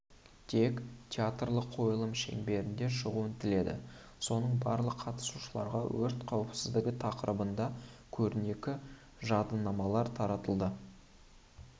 тек театрлық қойылым шеңберінде шығуын тіледі соңында барлық қатысушыларға өрт қауіпсіздігі тақырыбында көрнекі жадынамалар таратылды